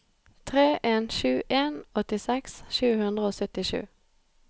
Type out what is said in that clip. tre en sju en åttiseks sju hundre og syttisju